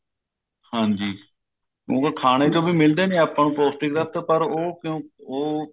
ਹਾਂਜੀ ਉਵੇਂ ਖਾਨੇ ਚੋ ਵੀ ਮਿਲਦੇ ਨੇ ਆਪਾਂ ਪੋਸਟਿਕ ਤੱਤ ਪਰ ਉਹ ਕਿਉਂ ਉਹ